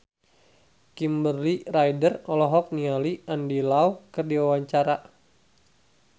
Kimberly Ryder olohok ningali Andy Lau keur diwawancara